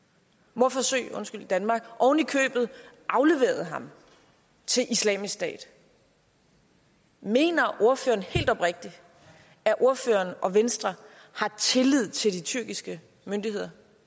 mordforsøg i danmark oven i købet afleveret ham til islamisk stat mener ordføreren helt oprigtigt at ordføreren og venstre har tillid til de tyrkiske myndigheder